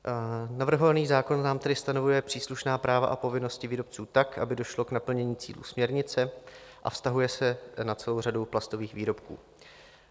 Navrhovaný zákon nám tedy stanovuje příslušná práva a povinnosti výrobců tak, aby došlo k naplnění cílů směrnice, a vztahuje se na celou řadu plastových výrobků.